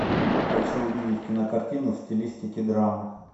хочу увидеть кинокартину в стилистике драмы